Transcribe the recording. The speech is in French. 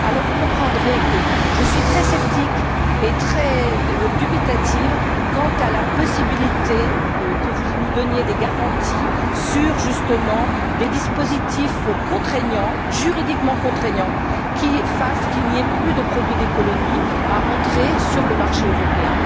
Vous comprendrez que je suis très sceptique et dubitative quant à la possibilité que vous nous donniez des garanties sur, justement, des dispositifs juridiquement contraignants qui fassent qu'il n'y ait plus de produits des colonies entrant sur le marché européen.